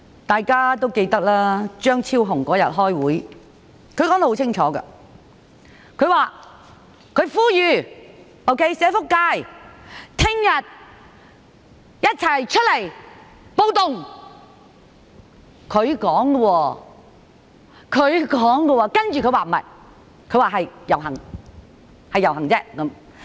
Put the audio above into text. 大家也記得，張超雄議員當天開會時說得很清楚，他呼籲社福界翌日一起出來"暴動"，這是他說的，接着他說不對，是"遊行"而已。